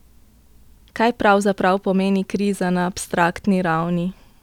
Kaj pravzaprav pomeni kriza na abstraktni ravni?